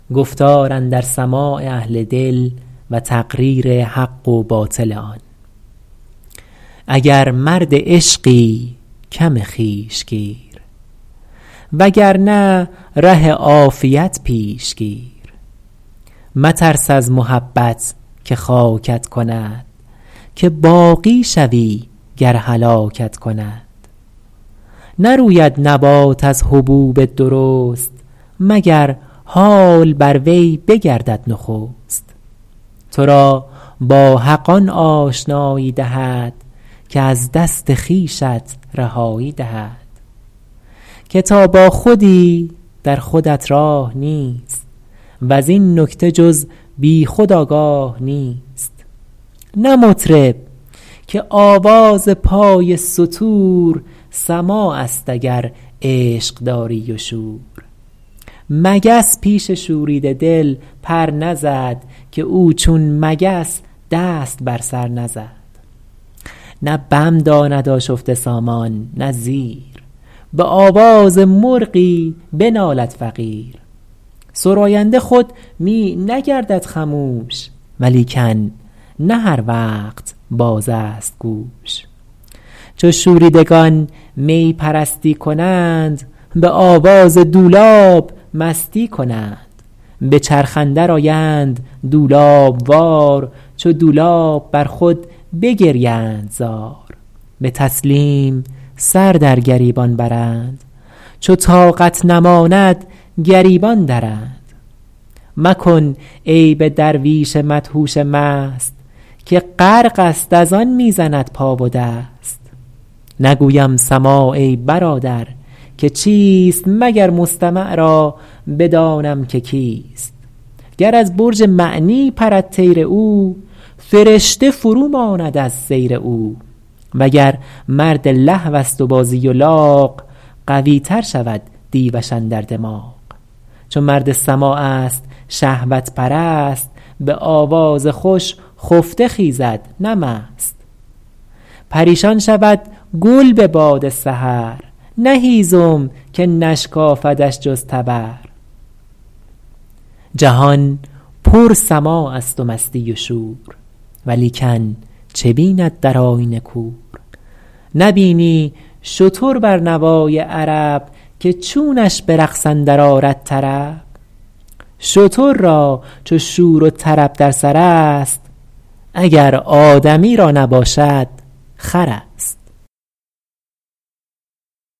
اگر مرد عشقی کم خویش گیر و گر نه ره عافیت پیش گیر مترس از محبت که خاکت کند که باقی شوی گر هلاکت کند نروید نبات از حبوب درست مگر حال بر وی بگردد نخست تو را با حق آن آشنایی دهد که از دست خویشت رهایی دهد که تا با خودی در خودت راه نیست وز این نکته جز بی خود آگاه نیست نه مطرب که آواز پای ستور سماع است اگر عشق داری و شور مگس پیش شوریده دل پر نزد که او چون مگس دست بر سر نزد نه بم داند آشفته سامان نه زیر به آواز مرغی بنالد فقیر سراینده خود می نگردد خموش ولیکن نه هر وقت باز است گوش چو شوریدگان می پرستی کنند به آواز دولاب مستی کنند به چرخ اندر آیند دولاب وار چو دولاب بر خود بگریند زار به تسلیم سر در گریبان برند چو طاقت نماند گریبان درند مکن عیب درویش مدهوش مست که غرق است از آن می زند پا و دست نگویم سماع ای برادر که چیست مگر مستمع را بدانم که کیست گر از برج معنی پرد طیر او فرشته فرو ماند از سیر او وگر مرد لهو است و بازی و لاغ قوی تر شود دیوش اندر دماغ چو مرد سماع است شهوت پرست به آواز خوش خفته خیزد نه مست پریشان شود گل به باد سحر نه هیزم که نشکافدش جز تبر جهان پر سماع است و مستی و شور ولیکن چه بیند در آیینه کور نبینی شتر بر نوای عرب که چونش به رقص اندر آرد طرب شتر را چو شور طرب در سر است اگر آدمی را نباشد خر است